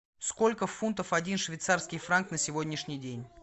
сколько фунтов один швейцарский франк на сегодняшний день